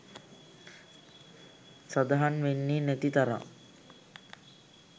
සදහන් වෙන්නේ නැති තරම්.